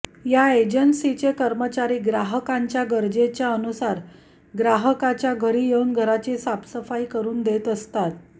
या एजन्सीजचे कर्मचारी ग्राहकांच्या गरजेच्या अनुसार ग्राहकाच्या घरी येऊन घराची साफसफाई करून देत असतात